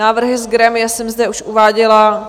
Návrhy z grémia jsem zde už uváděla.